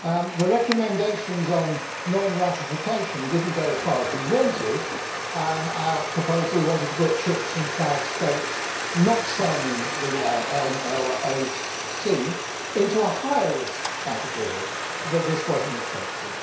The recommendations on non ratification did not go as far as we wanted our proposal wanted to put ships from flag States not signing the MLC into a higher risk category but this was not accepted.